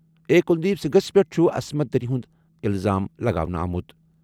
A Kuldeep سنگھَس پٮ۪ٹھ چھُ عصمت دری ہُنٛد الزام لگاونہٕ آمُت۔